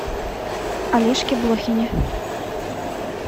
олежке блохине